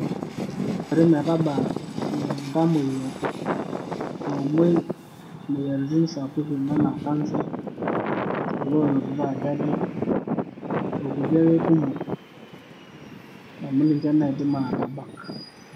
Ore metabaa iltamoyia oomoi imoyiaritin sapukin enaa kansa, kulo oonotito ajali okulie ake kumok amu ninche ake naidim aatabak.